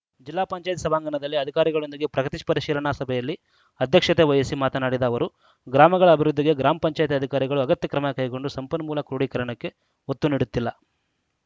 ಜಿಪಂ ಸಭಾಂಗಣದಲ್ಲಿ ಅಧಿಕಾರಿಗಳೊಂದಿಗೆ ಪ್ರಗತಿ ಪರಿಶೀಲನಾ ಸಭೆಯಲ್ಲಿ ಅಧ್ಯಕ್ಷತೆ ವಹಿಸಿ ಮಾತನಾಡಿದ ಅವರು ಗ್ರಾಮಗಳ ಅಭಿವೃದ್ಧಿಗೆ ಗ್ರಾಮ ಪಂಚಾಯತ್ ಅಧಿಕಾರಿಗಳು ಅಗತ್ಯ ಕ್ರಮ ಕೈಗೊಂಡು ಸಂಪನ್ಮೂಲ ಕ್ರೂಢೀಕರಣಕ್ಕೆ ಒತ್ತು ನೀಡುತ್ತಿಲ್ಲ